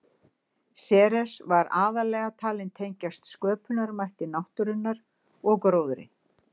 Ceres var aðallega talin tengjast sköpunarmætti náttúrunnar og gróðri.